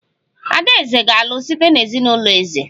Adaeze ga-alụ site na ezinụlọ eze